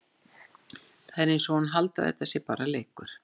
Það er eins og hún haldi að þetta sé bara leikur!